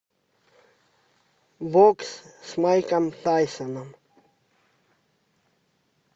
бокс с майком тайсоном